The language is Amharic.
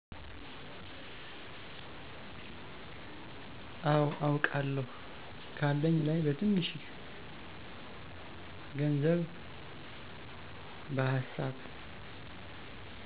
አው አውቃለው ካለኝ ላይ በትንሺ ግንዘብ በሀሳብ።